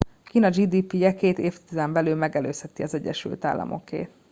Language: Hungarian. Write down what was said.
kína gdp je két évtizeden belül megelőzheti az egyesült államokét